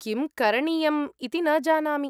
किं करणीयम् इति न जानामि।